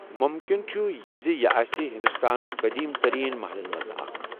مُمکِن چھُ زِ یہِ آسہِ ہندوستانٕک قٔدیٖم تریٖن محلَن منٛز اکھ۔